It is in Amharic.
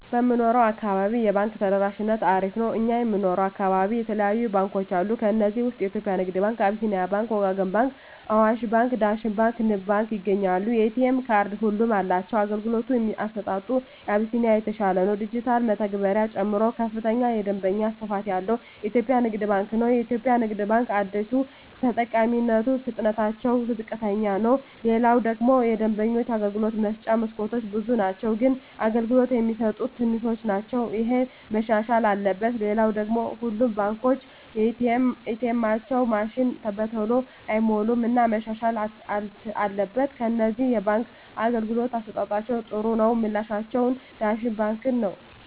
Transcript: በምንኖረው አካባቢ የባንክ ተደራሽነቱ አሪፍ ነው እኛ የምንኖረው አካባቢ የተለያዩ ባንኮች አሉ ከዚህ ውስጥ የኢትዮጵያ ንግድ ባንክ አቢስኒያ ባንክ ወጋገን ባንክ አዋሽ ባንክ ዳሽን ባንክ ንብ ባንክ ይገኛሉ የኤ.ቴ ካርድ ሁሉም አላቸው የአገልግሎቱ አሰጣጡ አቢስኒያ የተሻለ ነው የዲጅታል መተግበሪያ ጨምሮ ከፍተኛ የደንበኛ ስፋት ያለው ኢትዮጵያ ንግድ ባንክ ነው የኢትዮጵያ ንግድ ባንክ አደሰው ተጠቃሚነቱ ፍጥነትታቸው ዝቅተኛ ነው ሌላው ደግሞ የደንበኞች የአገልግሎት መስጫ መስኮቶች ብዙ ናቸው ግን አገልግሎት የሚሰጡት ትንሾች ናቸው እሄ መሻሻል አለበት ሌላው ሁሉም ባንኮች ኤ. ቴኤማቸው ማሽኖች በተሎ አይሞሉም እና መሻሻል አትበል ከነዚህ የባንክ አገልግሎት አሠጣጣቸዉ ጥሩ ነው ምላቸውን ዳሽን ባንክን ነዉ